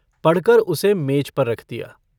पढ़कर उसे मेज पर रख दिया।